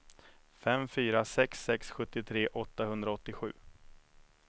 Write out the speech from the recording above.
fem fyra sex sex sjuttiotre åttahundraåttiosju